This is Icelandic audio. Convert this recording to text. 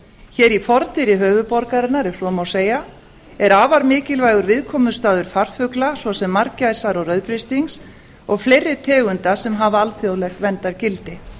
hér í fordyri höfuðborgarinnar ef svo má segja er afar mikilvægur viðkomustaður farfugla svo sem margæsar og rauðbrystings og fleiri tegunda sem hafa alþjóðlegt verndargildi